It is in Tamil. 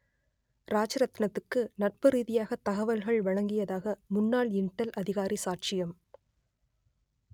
ராஜரத்தினத்துக்கு நட்பு ரீதியாக தகவல்கள் வழங்கியதாக முன்னாள் இன்டெல் அதிகாரி சாட்சியம்